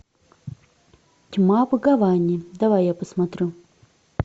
тьма в гаване давай я посмотрю